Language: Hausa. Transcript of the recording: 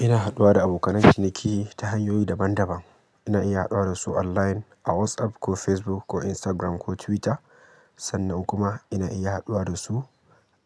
Ina haɗuwa da abokanan ciniki ta hanyoyi daban-daban. Ina iya haɗuwa da su online a WhatsApp ko Facebook ko Instagram ko Twitter. Sannan kuma ina iya haɗuwa da su